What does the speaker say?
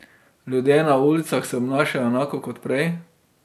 Ljudje na ulicah se obnašajo enako kot prej.